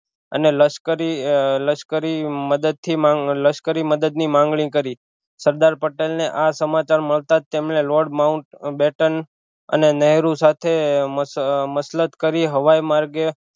અને લશ્કરી લશ્કરી મદદ થી માંગ લશ્કરીમદદ ની માગણી કરી સરદાર પટેલ ને આ સમાચાર મળતા જ તેમને લોર્ડ માઉટ બેટન અને નેહરુ સાથે મસ મસલત કરી હવાઈ માર્ગે